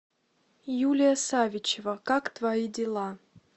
юлия савичева как твои дела